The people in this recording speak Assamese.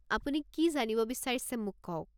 আপুনি কি জানিব বিচাৰিছে মোক কওক।